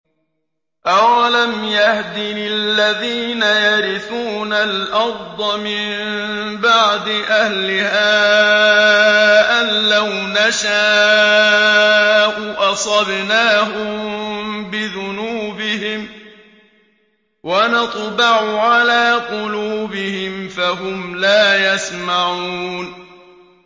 أَوَلَمْ يَهْدِ لِلَّذِينَ يَرِثُونَ الْأَرْضَ مِن بَعْدِ أَهْلِهَا أَن لَّوْ نَشَاءُ أَصَبْنَاهُم بِذُنُوبِهِمْ ۚ وَنَطْبَعُ عَلَىٰ قُلُوبِهِمْ فَهُمْ لَا يَسْمَعُونَ